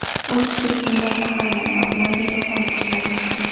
Uch kishi tutundan zaharlandi, ularga yordam ko‘rsatilmoqda.